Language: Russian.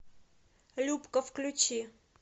любка включи